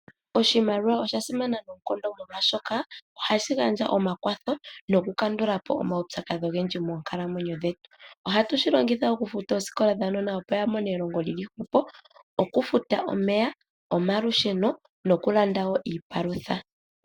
Oshimaliwa osha simana noonkondo molwashoka ohashi gandja omakwatho, nokukandula po omaupyakadhi ogendji moonkalamwenyo dhetu. Ohatu shi longitha okufuta oosikola dhuunona opo wu mone elongo lyi li hwepo, okufuta omeya, omalusheno nokulanda wo iipalutha.